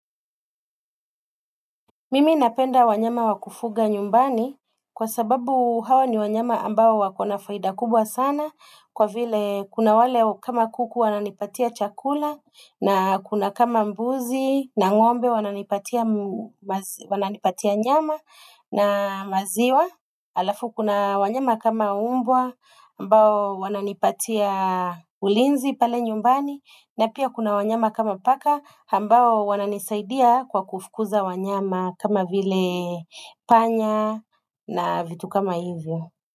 Mimi napenda wanyama wa kufuga nyumbani kwa sababu hawa ni wanyama ambao wakona faida kubwa sana kwa vile kuna wale kama kuku wananipatia chakula na kuna kama mbuzi na ngombe wananipatia nyama na maziwa. Alafu kuna wanyama kama umbwa ambao wananipatia ulinzi pale nyumbani na pia kuna wanyama kama paka ambao wananisaidia kwa kufukuza wanyama kama vile panya na vitu kama hivyo.